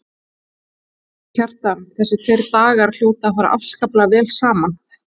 Kjartan: Þessir tveir dagar hljóta að fara afskaplega vel saman?